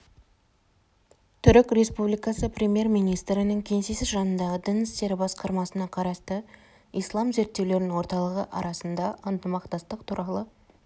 түрік республикасы премьер-министрінің кеңсесі жанындағы дін істері басқармасына қарасты ислам зерттеулерінің орталығы арасында ынтымақтастық туралы